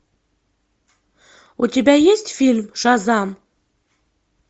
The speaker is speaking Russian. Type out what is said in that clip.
у тебя есть фильм шазам